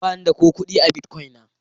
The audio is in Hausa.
Ba ni da ko kudi a Bitcoin na.